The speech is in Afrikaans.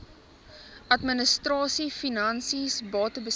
administrasie finansies batebestuur